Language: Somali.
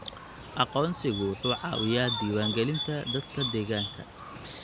Aqoonsigu wuxuu caawiyaa diiwaangelinta dadka deegaanka.